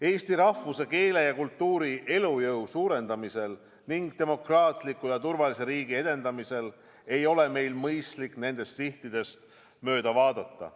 Eesti rahvuse, keele ja kultuuri elujõu suurendamisel ning demokraatliku ja turvalise riigi edendamisel ei ole meil mõistlik nendest sihtidest mööda vaadata.